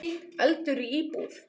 Eldur í íbúð